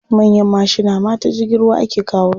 Manyan mashina ma ta jirgin ruwa ake kawo su.